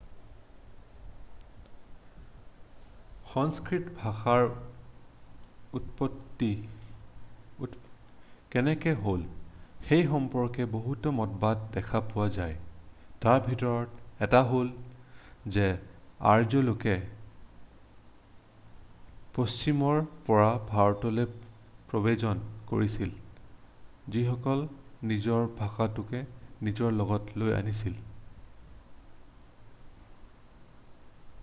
সংস্কৃত ভাষাৰ উৎপত্তি কেনেকৈ হ'ল সেই সম্পৰ্কে বহুতো মতবাদ দেখা পোৱা যায় তাৰ ভিতৰত এটা হ'ল যে আৰ্য্য লোকে পশ্চিমৰ পৰা ভাৰতলৈ প্ৰব্ৰজন কৰিছিল যিসকলে নিজৰ ভাষাটোকো নিজৰ লগত লৈ আনিছিল